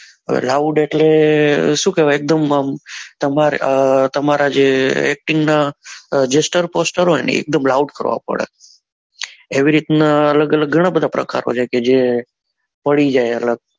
અ loud એટલે શું કેવાય એકદમ આમ તમારે તમારે જે acting ના gester poster હોય ને એ એકદમ loud કરવા પડે એવી રીત નાં અલગ અલગ ગણા બધા પ્રકારો છે જે પડી જાય અલગ